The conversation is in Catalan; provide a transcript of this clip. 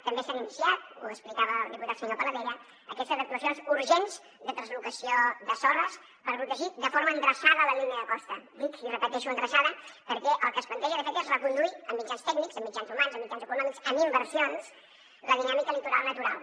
també s’han iniciat ho explicava el diputat senyor paladella aquestes actuacions urgents de translocació de sorres per protegir de forma endreçada la línia de costa dic i repeteixo endreçada perquè el que es planteja de fet és reconduir amb mitjans tècnics amb mitjans humans amb mitjans econòmics amb inversions la dinàmica litoral natural